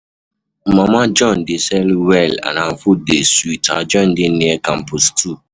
Mama John dey sell well and her food dey sweet, her joint dey near campus 2